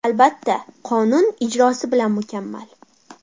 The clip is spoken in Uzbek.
Albatta, qonun ijrosi bilan mukammal.